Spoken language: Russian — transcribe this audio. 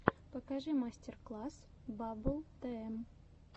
покажи мастер класс баббл тм